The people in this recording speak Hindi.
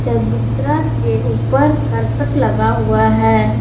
चबूतरा के ऊपर करकट लगा हुआ है।